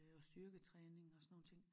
Øh og styrketræning og sådan nogen ting